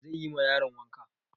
Wa zai yi ma yaron wanka?